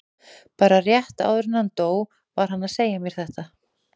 Bara rétt áður en hann dó var hann að segja mér þetta.